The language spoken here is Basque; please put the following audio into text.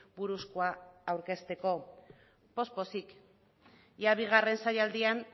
buruzkoa aurkezteko poz pozik ia bigarren saialdian